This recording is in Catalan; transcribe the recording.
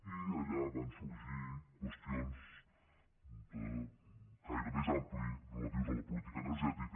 i allà van sorgir qüestions de caire més ampli relatives a la política energètica